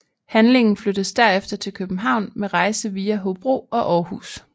Handlingen flyttes derefter til København med rejse via Hobro og Aarhus